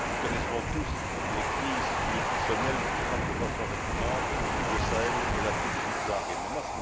Nous connaissons tous les crises nutritionnelles qui frappent de façon récurrente le Sahel et l'Afrique subsaharienne.